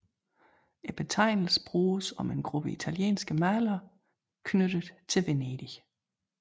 Betegnelsen bruges om en gruppe italienske malere knyttet til Venedig